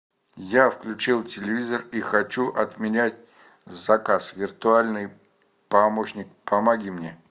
я включил телевизор и хочу отменять заказ виртуальный помощник помоги мне